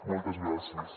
moltes gràcies